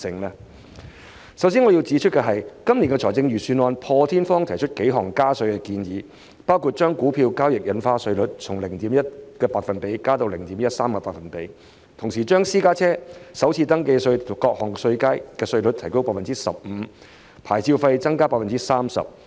我首先要指出，本年度財政預算案破天荒提出幾項加稅建議，包括將股票交易印花稅稅率從 0.1% 調高至 0.13%， 同時將私家車首次登記稅各稅階的稅率提高 15%， 以及牌照費提高 30%。